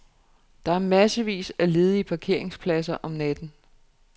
Der er massevis af ledige parkeringspladser om natten.